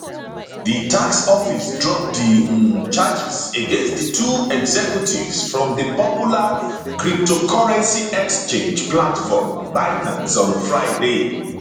di tax office drop di um charges against di two executives from di popular cryptocurrency exchange platform binance on friday